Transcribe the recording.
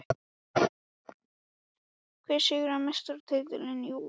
Hver sigrar Meistaradeildina í vor?